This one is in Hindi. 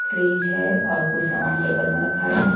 फ्रिज है और कुछ सामान टेबल में रखा है।